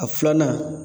A filanan